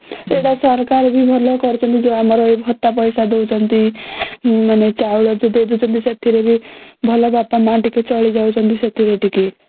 ଏଇଟା ସରକାର ବି ଭଲ କରିଛନ୍ତି ଯୋଉ ଆମର ଭତ୍ତା ପଇସା ଦଉଛନ୍ତି ମାନେ ଚାଉଳ ବି ଦେଇ ଦଉଛନ୍ତି ସେଥିରେ ବି ଭଲ ବାପା ମା ଚାଲି ଯାଉଛଂତି ସେଥିରେ ଟିକେ